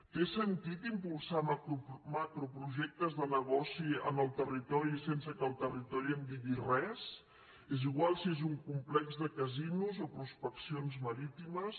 té sentit impulsar macroprojectes de negoci en el territori sense que el territori en digui res és igual si és un complex de casinos o prospeccions marítimes